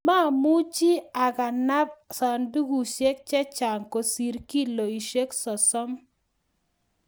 mamuchi akanap sandukushek che chang' kosir kiloishek sosom